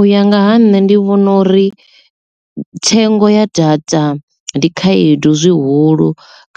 U ya nga ha nṋe ndi vhona uri thengo ya data ndi khaedu zwihulu